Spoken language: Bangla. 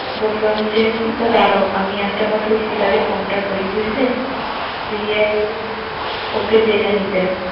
বললাম যে আমি তো দাঁড়াও, আমি একটাবার সুস্মিতাকে ফোনটা করি বুঝলে, দিয়ে, ওকে জেনে নিতে।